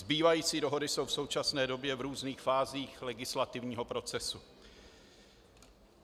Zbývající dohody jsou v současné době v různých fázích legislativního procesu.